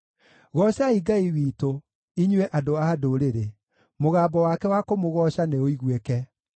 Goocai Ngai witũ, inyuĩ andũ a ndũrĩrĩ, mũgambo wake wa kũmũgooca nĩũiguĩke;